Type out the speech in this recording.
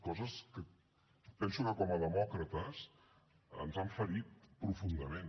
coses que penso que com a demòcrates ens han ferit profundament